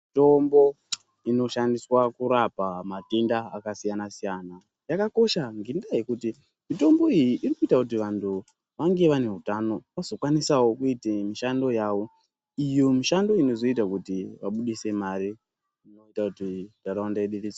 Mitombo inoshandiswa kurapa matenda akasiyana siyana, yakakosha ngendaha yekuti mitombo iyi, irikuyita kuti vantu vange vanewutano, vazvokwanisewo kuyite mishando yavo. Iyo mishando inozoyita kuti vabudise mare, inoyita kuti ndarawunda yedu.